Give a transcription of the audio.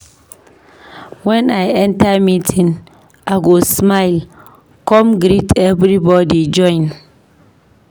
Wen I enter meeting, I go smile, come greet everybody join.